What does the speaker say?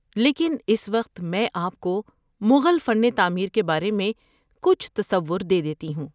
لیکن اس وقت میں آپ کو مغل فن تعمیر کے بارے میں کچھ تصور دے دیتی ہوں۔